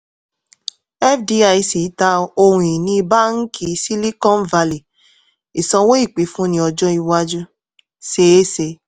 fdic ta ohun ìní báàǹkì silicon valley ìsanwó ìpínfúnni ọjọ́ iwájú seé se.